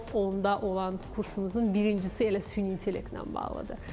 Top 10-da olan kursumuzun birincisi elə süni intellektlə bağlıdır.